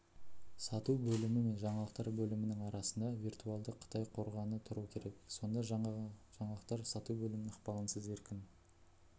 сату бөлімі мен жаңалықтар бөлімінің арасында виртуалды қытай қорғаны тұру керек сонда ғана жаңалықтар сату бөлімінің ықпалынсыз еркін